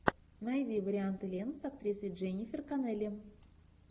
найди варианты лент с актрисой дженнифер коннелли